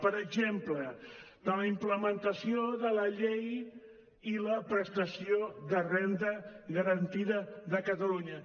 per exemple de la implementació de la llei i la prestació de renda garantida de catalunya